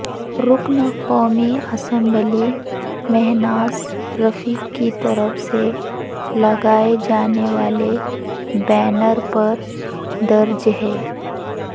رکن قومی اسمبلی مہناز رفیع کی طرف سے لگائے جانے والے بینر پر درج ہے